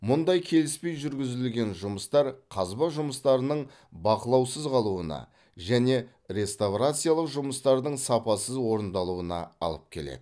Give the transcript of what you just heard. мұндай келіспей жүргізілген жұмыстар қазба жұмыстарының бақылаусыз қалуына және реставрациялық жұмыстардың сапасыз орындалуына алып келеді